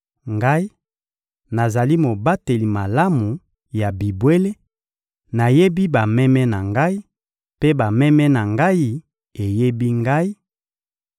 Ngai, nazali mobateli malamu ya bibwele; nayebi bameme na Ngai, mpe bameme na Ngai eyebi Ngai